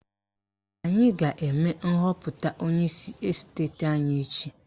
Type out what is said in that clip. Anyị ga-eme nhọpụta onyeisi esteti anyị echi